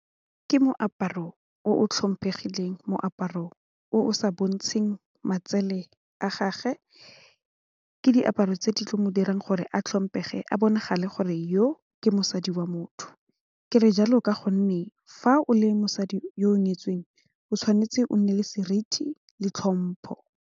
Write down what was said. Ke moaparo o tlhomphegileng moaparo o sa bontsheng matsele a gage ke diaparo tse di tlo mo dirang gore a tlhompe fa a bonagala gore yo ke mosadi wa motho kere jalo ka gonne fa o le mosadi yo o nyetsweng o tshwanetse o nne le seriti le tlhompho.